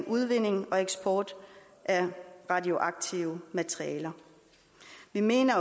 udvinding og eksport af radioaktive materialer vi mener